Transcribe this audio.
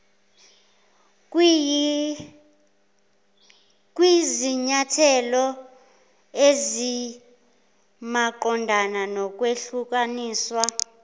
kwizinyathelo ezimaqondana nokwehlukaniswa